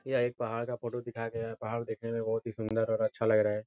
यह एक पहाड़ का फोटो दिखाया गया है। पहाड़ देखने में बहोत ही सुन्दर और अच्छा लग रहा है।